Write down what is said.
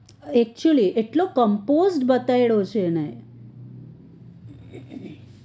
ectually એટલો compost બતાવ્યો છે એને